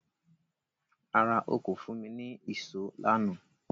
Rárá, o kò fún mi ní ìṣó lánàá